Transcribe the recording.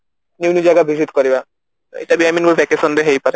new new ଜାଗା visit କରିବା ଏଇଟା ବି i mean vacation ରେ ହେଇପାରେ